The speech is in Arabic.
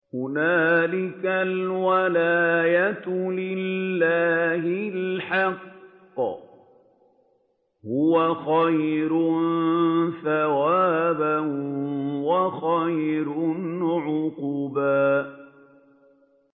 هُنَالِكَ الْوَلَايَةُ لِلَّهِ الْحَقِّ ۚ هُوَ خَيْرٌ ثَوَابًا وَخَيْرٌ عُقْبًا